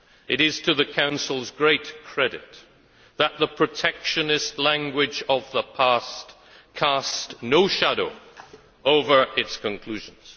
It is to the Council's great credit that the protectionist language of the past cast no shadow over its conclusions.